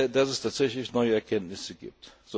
dass es tatsächlich neue Erkenntnisse gibt.